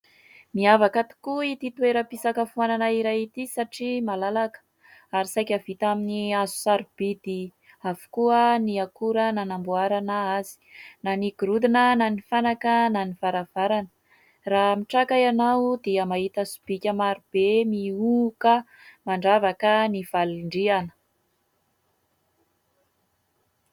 Miavaka tokoa ity toeram-pisakafoana iray ity satria malalaka ary saika vita amin'ny hazo sarobidy avokoa ny akora nanamboarana azy, na ny gorodona na ny fanaka na ny varavarana raha mitraka ianao dia mahita sobika marobe mihoaka mandravaka ny valindrihana.